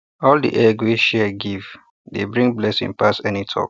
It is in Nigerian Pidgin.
all the egg wey share give dey bring blessing pass any talk